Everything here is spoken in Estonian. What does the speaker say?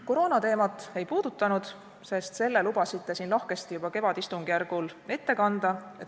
Koroonateemat ma täna ei puuduta, sest selle lubasite juba kevadistungjärgul ette kanda.